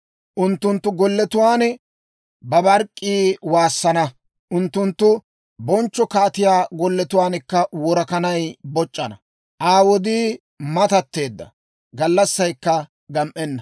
Unttunttu golletuwaan babark'k'ii waassana; unttunttu bonchcho kaatiyaa golletuwaankka worakanay boc'c'anna. Aa wodii matatteedda; gallassaykka gam"enna.